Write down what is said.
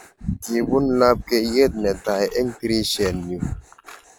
Kibun lapkeiyet netai eng tirishen nyu.